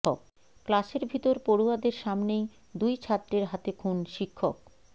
ক্লাসের ভিতর পড়ুয়াদের সামনেই দুই ছাত্রের হাতে খুন শিক্ষক